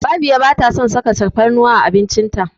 Babiya ba ta son saka tafarnuwa a abinci ta.